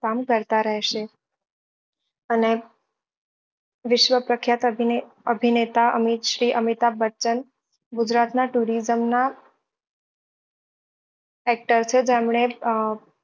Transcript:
કામ કરતા રહેશે અને વિશ્વ પ્રખ્યાત અભિનય અભિનેતા અમિત શ્રી અમિતાભ બચ્ચન ગુજરાત ના tourism નાં actor છે જેમને